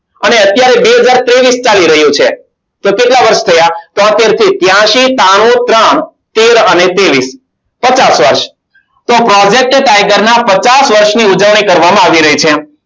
અને અત્યારે બે હજાર ત્રેવીસ ચાલી રહ્યું છે તો કેટલા વર્ષ થયા તોતેર થી ત્યાંશી ત્રાણું ત્રણ તેર અને ત્રેવીસ પચાસ વર્ષ તો project tiger ના પચાસ વર્ષની ઉજવણી કરવામાં આવી રહી છે